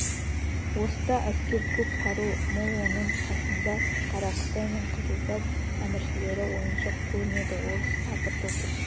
орыста әскер көп қару мол оның қасында қара қытай мен қызылбас әміршілері ойыншық көрінеді орыс апыр-топыр